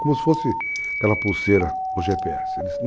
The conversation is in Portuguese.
Como se fosse aquela pulseira ou GPS.